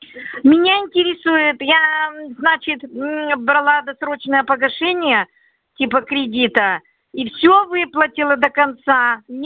меня интересует я мм значит мм брала досрочное погашение типа кредита и все выплатила до конца не